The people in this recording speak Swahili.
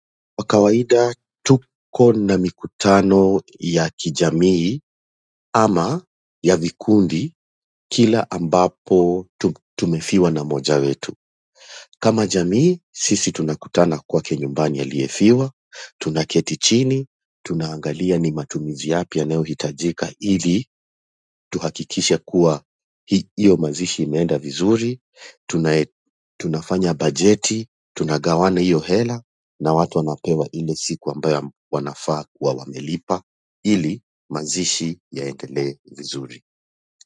Kwa kawaida tuko na mikutano ya kijamii, ama ya vikundi, kila ambapo tumefiwa na mmoja wetu. Kama jamii, sisi tunakutana kwake nyumbani aliyefiwa, tunaketi chini, tunaangalia ni matumizi yapi yanayo hitajika ili tuhakikishe kuwa hiyo mazishi imeenda vizuri, tanae. Tunafanya bajeti, tunagawana hiyo hela na watu wanapewa ile siku ambayo wanafaa kuwa wamelipa ili mazishi yaendele vizuri.